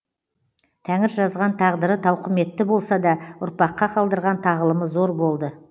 тәңір жазған тағдыры тауқыметті болса да ұрпаққа қалдырған тағылымы зор болды